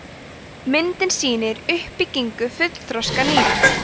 myndin sýnir uppbyggingu fullþroska nýra